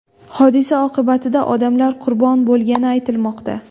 Hodisa oqibatida odamlar qurbon bo‘lgani aytilmoqda.